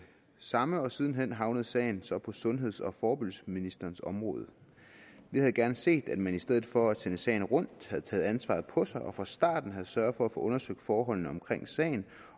samme og siden hen havnede sagen så i sundheds og forebyggelsesministerens område vi havde gerne set at man i stedet for at sende sagen rundt havde taget ansvaret på sig og fra starten havde sørget for at få undersøgt forholdene omkring sagen